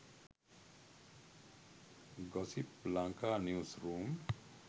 gossip lanka news room